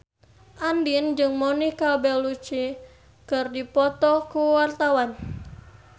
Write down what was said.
Andien jeung Monica Belluci keur dipoto ku wartawan